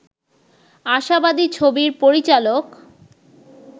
আশাবাদী ছবির পরিচালক